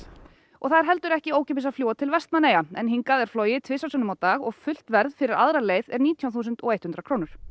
og það er heldur ekki ókeypis að fljúga til Vestmannaeyja en hingað er flogið tvisvar sinnum á dag og fullt verð fyrir aðra leið er nítján þúsund hundrað krónur